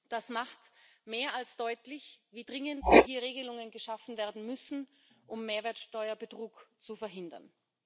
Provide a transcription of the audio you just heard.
Das macht mehr als deutlich, wie dringend hier Regelungen geschaffen werden müssen, um Mehrwertsteuerbetrug zu verhindern.